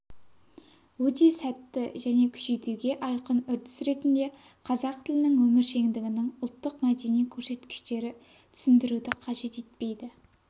өте сәтті және күшейтуге айқын үрдіс ретінде қазақ тілінің өміршеңдігінің ұлттық-мәдени көрсеткіштері түсіндіруді қажет етпейді